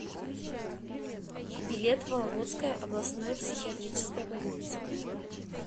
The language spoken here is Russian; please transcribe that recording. билет вологодская областная психиатрическая больница